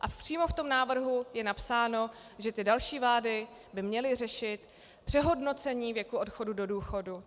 A přímo v tom návrhu je napsáno, že ty další vlády by měly řešit přehodnocení věku odchodu do důchodu.